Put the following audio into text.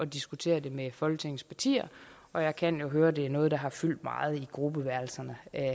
diskutere det med folketingets partier og jeg kan jo høre at det er noget der har fyldt meget i gruppeværelserne